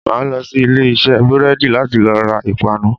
Màá lo sí Ilé isé búrédì láti lo ra ìpanu